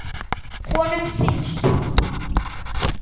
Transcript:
Honum finnst hún falleg.